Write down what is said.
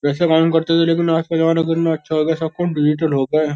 वैसे काम करते थे लेकिन आज का जमाना कितना अच्छा हो गया। सब काम डिजिटल हो गये हैं।